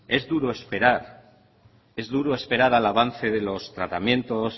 es duro esperar es duro esperar al avance de los tratamientos